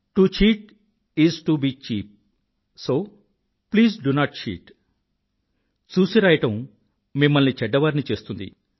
to cheat is to be cheap so please do not cheat ఇ చూసిరాయడం మిమ్మల్ని చెడ్డవారిని చేస్తుంది